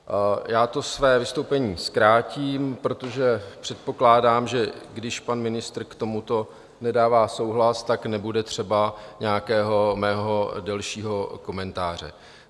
Já to své vystoupení zkrátím, protože předpokládám, že když pan ministr k tomuto nedává souhlas, tak nebude třeba nějakého mého delšího komentáře.